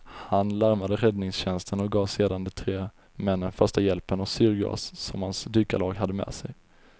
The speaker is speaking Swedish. Han larmade räddningstjänsten och gav sedan de tre männen första hjälpen och syrgas som hans dykarlag hade med sig.